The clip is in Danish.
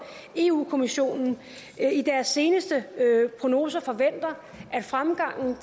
europa kommissionen i deres seneste prognoser forventer at fremgangen